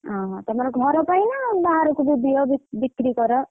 ଅହ! ତମର ଘର ପାଇଁ ନା ବାହାରକୁ ବି ଦିଅ ବି ବି କ୍ରି କର?